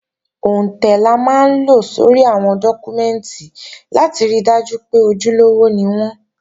Òǹtẹ̀ la máa ń lo sórí àwọn dọ́kúmẹ́ǹtì láti ri dájú pé ojúlówó ni wọ́n